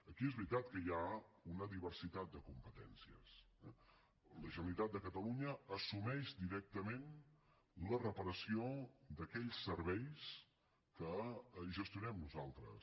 aquí és veritat que hi ha una diversitat de competències eh la generalitat de catalunya assumeix directament la reparació d’aquells serveis que gestionem nosaltres